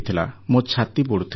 ମୋ ଛାତି ପୋଡ଼ୁଥିଲା